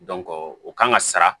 o kan ka sara